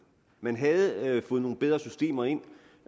man havde fået nogle bedre systemer ind